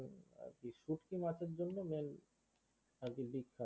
শুটকি মাছের জন্য main আর কি দ্বীপ